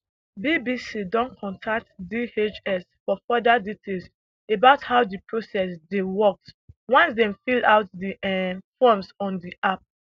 bbc don contact dhs for further details about how di process dey works once dem fill out di um forms on di app